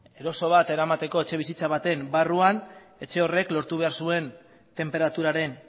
eroso bat eramateko etxebizitza baten barruan etxe horrek lortu behar zuen tenperaturaren